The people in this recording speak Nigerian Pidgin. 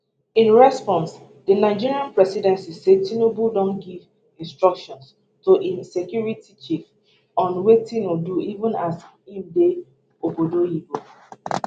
in response di nigeria presidency say tinubu don give instructions to im security chiefs on wetin o do even as im dey obodo oyibo